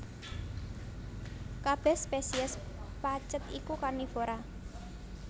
Kabèh spesies pacet iku karnivora